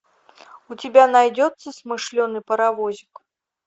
у тебя найдется смышленый паровозик